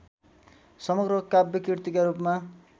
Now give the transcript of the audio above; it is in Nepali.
समग्र काव्यकृतिका रूपमा